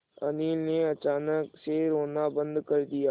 अनिल ने अचानक से रोना बंद कर दिया